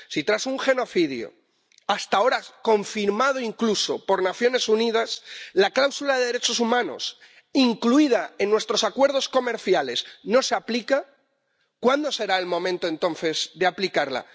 Si tras un genocidio, hasta ahora confirmado incluso por Naciones Unidas, la cláusula de derechos humanos incluida en nuestros acuerdos comerciales no se aplica ¿cuándo será el momento entonces de aplicarla?